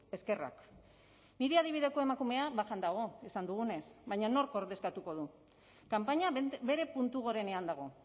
eskerrak nire adibideko emakumea bajan dago esan dugunez baina nork ordezkatuko du kanpaina bere puntu gorenean dago